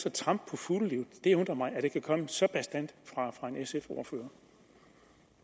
at trampe på fuglelivet det undrer mig at det kan komme så bastant fra en sf